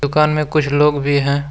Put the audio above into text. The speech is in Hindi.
दुकान में कुछ लोग भी है।